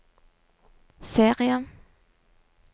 serie